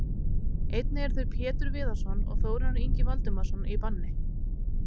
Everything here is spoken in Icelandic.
Einnig eru þeir Pétur Viðarsson og Þórarinn Ingi Valdimarsson í banni.